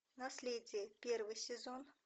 наследие первый сезон